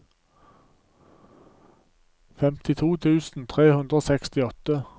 femtito tusen tre hundre og sekstiåtte